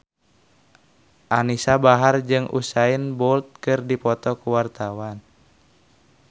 Anisa Bahar jeung Usain Bolt keur dipoto ku wartawan